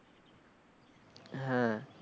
হ্যাঁ।